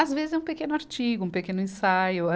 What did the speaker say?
Às vezes, é um pequeno artigo, um pequeno ensaio.